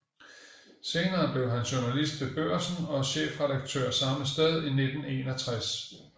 Senere blev han journalist ved Børsen og chefredaktør samme sted i 1961